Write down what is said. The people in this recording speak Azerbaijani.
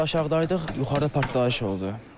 Biz aşağıdaydıq, yuxarıda partlayış oldu.